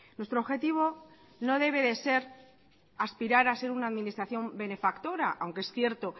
nuestro objetivo no debe de ser aspirar a ser una administración benefactora aunque es cierto